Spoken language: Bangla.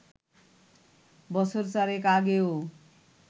বছর চারেক আগেও